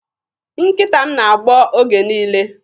Nkịta m na-agbọ oge niile.